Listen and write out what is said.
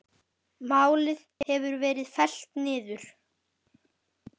Málið hefur verið fellt niður.